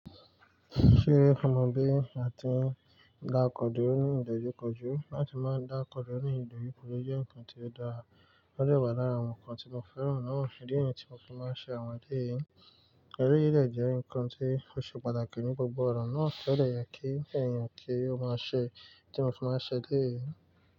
Ṣé ọ mọ bí à ti n dá okọ̀ durọ̀ ní ìdojúkọjú láti máa dá okọ̀ durọ̀ ní ìdojúkọjú jẹ́ nǹkan tí ó dára, ó de wa lara àwọn nǹkan tí mo fẹ́ràn náà. Ìdí ni yí tí mo fi máa ń ṣe àwọn èleyìí. Èleyii de jẹ́ ǹkan tí ó ṣe pàtàkì ní gbogbo ọ̀nà náà, ti o de ye kí eẹ̀yàn kí ó máa ṣe tí mo fi máa ń ṣe eleyìí.